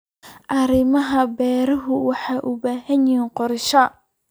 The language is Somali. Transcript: Arrimaha beeruhu waxay u baahan yihiin qorshe.